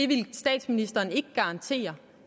ville statsministeren ikke garantere